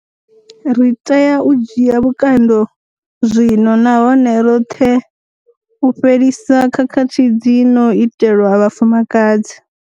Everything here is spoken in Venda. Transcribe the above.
Ri tea u dzhia vhukando zwino nahone roṱhe u fhelisa khakhathi dzi no itelwa vhafumakadzi.